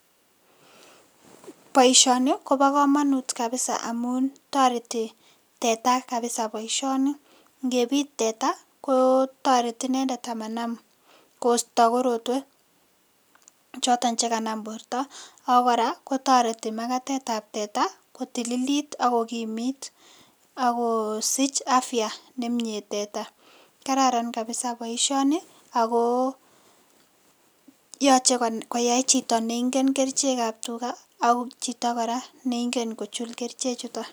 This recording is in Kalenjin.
Boisioni kobo kamanut kabisa amun toreti teta kabisa boisioni, ngepit teta ko toreti nendet amanam koosto korotwek choton che kanam borta, ako kora kotoreti makatetab teta ko tililit ak kokimit akosich afya ne mie teta, kararan kabisa boisioni ako yoche koyai chito neingen kerichekab tuga ak chito kora neingen kochul keriche chuton.